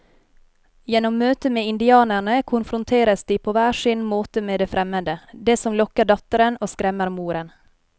Gjennom møtet med indianerne konfronteres de på hver sin måte med det fremmede, det som lokker datteren og skremmer moren.